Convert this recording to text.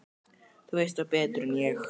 Þú veist þá betur en ég.